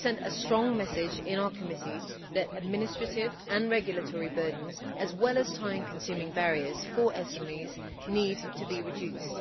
We sent a strong message in our committee that administrative and regulatory burdens, as well as time consuming barriers for SMEs, need to be reduced.